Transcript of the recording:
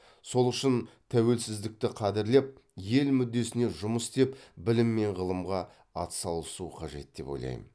сол үшін тәуелсіздікті қадірлеп ел мүддесіне жұмыс істеп білім мен ғылымға атсалысу қажет деп ойлайм